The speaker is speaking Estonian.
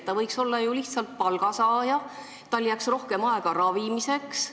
Ta võiks ju olla lihtsalt palgasaaja, siis jääks tal rohkem aega ravimiseks.